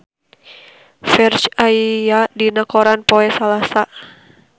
Ferdge aya dina koran poe Salasa